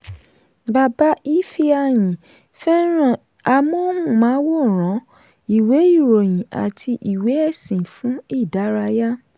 bàbá ifeanyi fẹ́ràn amóhùnmáwòrán ìwé ìròyìn àti ìwé ẹ̀sìn fún ìdárayá.